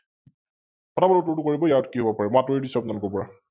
ফটা ফট উত্তৰটো কৰিব ইয়াত কি হব পাৰে? মই আতৰি দিছো আপোনলোকৰ পৰা ।